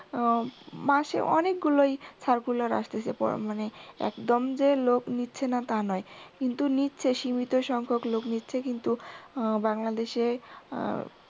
মাসে অনেকগুলাই circular আসতেছে পর মানে একদম যে লোক নিচ্ছে না তা নয় কিন্তু নিচ্ছে সীমিত সংখ্যক লোক নিচ্ছে কিন্তু বাংলাদেশে উহ